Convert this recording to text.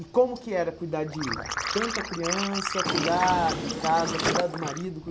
E como que era cuidar de tanta criança, cuidar de casa, cuidar do marido?